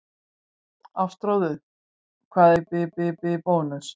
sagði hvöss rödd skyndilega.